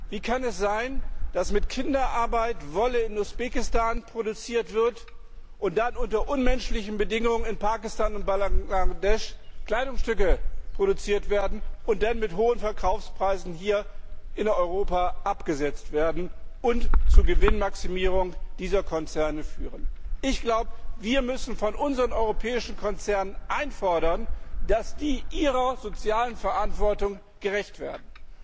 Wie kann es sein, dass mit Kinderarbeit Wolle in Usbekistan produziert wird und dann unter unmenschlichen Bedingungen in Pakistan und Bangladesch Kleidungsstücke produziert und danach zu hohen Verkaufspreisen hier in Europa abgesetzt werden und zur Gewinnmaximierung dieser Konzerne führen? Wir müssen von unseren europäischen Konzernen einfordern, dass die ihrer sozialen Verantwortung gerecht werden.